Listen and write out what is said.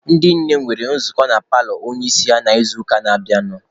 Ndị nne nwere nzukọ na paalọ onye isi ha n'izuụka na-abịanụ.